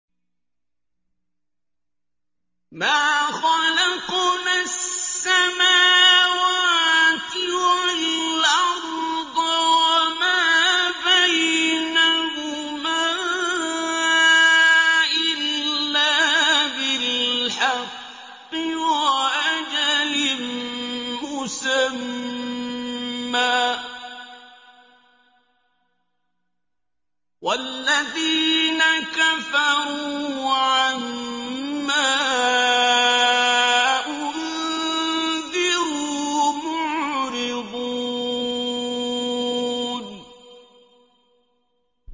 مَا خَلَقْنَا السَّمَاوَاتِ وَالْأَرْضَ وَمَا بَيْنَهُمَا إِلَّا بِالْحَقِّ وَأَجَلٍ مُّسَمًّى ۚ وَالَّذِينَ كَفَرُوا عَمَّا أُنذِرُوا مُعْرِضُونَ